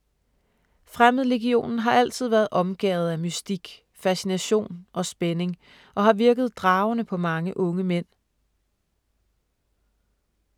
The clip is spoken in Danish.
Fremmedlegionen har altid være omgærdet af mystik, fascination og spænding, og har virket dragende på mange unge mænd.